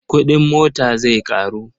Kuɗin mota zai ƙaru.